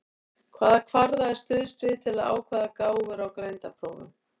Hvaða kvarða er stuðst við til að ákvarða gáfur á greindarprófum?